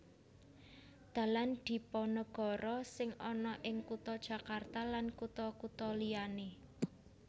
Dalan Dipanegara sing ana ing kutha Jakarta lan kutha kutha liyané